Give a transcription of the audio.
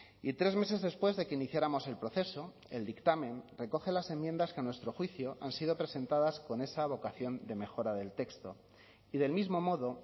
y tres meses después de que iniciáramos el proceso el dictamen recoge las enmiendas que a nuestro juicio han sido presentadas con esa vocación de mejora del texto y del mismo modo